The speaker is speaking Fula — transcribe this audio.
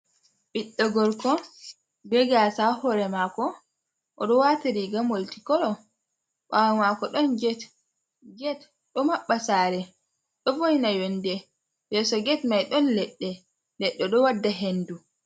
"Ɓiɗɗo gorko" Be gasa ha hore mako. Oɗo wati riiga molti kolo bawo mako don get. Get ɗo maɓɓa sare ɗo voina yonɗe yeso get mai ɗon ledde ledde ɗo wadda hendu.